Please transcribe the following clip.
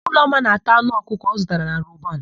Ụlọma na-ata anụ ọkụkọ ọ zụtara na Roban.